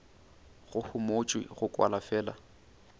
go homotšwe go kwala fela